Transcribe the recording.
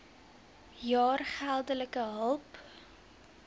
jaar geldelike hulp